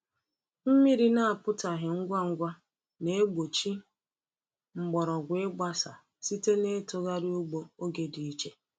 Mmiri na-apụtaghị ngwa ngwa na-egbochi mgbọrọgwụ ịgbasa site n’itughari ugbo oge dị iche.